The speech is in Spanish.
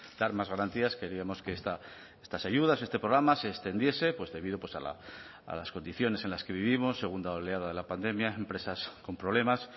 dar más garantías queríamos que estas ayudas este programa se extendiese pues debido pues a las condiciones en las que vivimos segunda oleada de la pandemia empresas con problemas